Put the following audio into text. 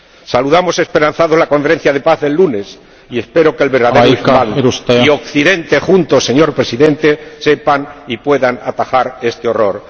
Saludamos esperanzados la Conferencia de Paz del lunes y espero que el verdadero islam y Occidente juntos, señor Presidente, sepan y puedan atajar este horror.